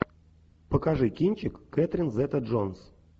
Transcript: покажи кинчик кэтрин зета джонс